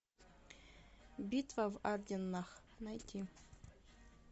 битва в арденнах найти